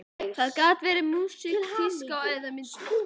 Það gat verið músík, tíska eða myndlist.